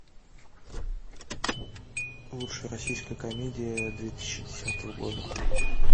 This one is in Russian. лучшая российская комедия две тысячи десятого года